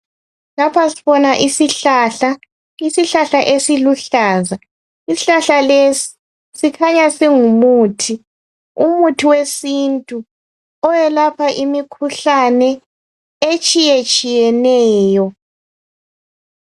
Lapha sibona isihlahlana. Isihlahla esiluhlaza . Isihlahla lesi sikhanya singumuthi. Umuthi wesintu. Owelapha imikhuhlane etshiyetshiyeneyo.